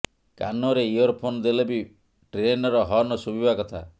କାନରେ ଇଅରଫୋନ୍ ଦେଲେ ବି ଟ୍ରେନର ହର୍ନ ଶୁଭିବା କଥା